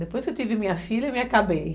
Depois que eu tive minha filha, eu me acabei.